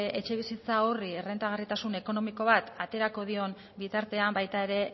etxebizitza horri errentagarritasun ekonomiko bat aterako dion bitartean baita ere